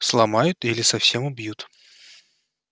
сломают или совсем убьют